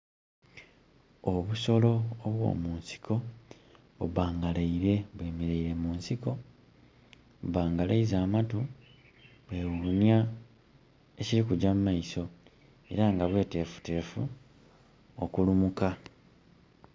Obusolo obwo mu nsiko bubbangalaire bwe mereire mu nsiko, bubbangalaiza amatu bwe wunia ekiri kujja mu maiso era nga bwetefutefu okulumuka